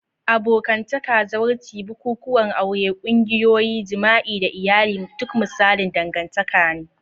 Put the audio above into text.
Abokantaka, zawarci, bukukuwan aure, ƙungiyoyi, jima'i, da iyali duk misalan dangantaka ne.